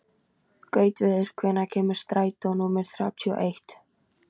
Gautviður, hvenær kemur strætó númer þrjátíu og eitt?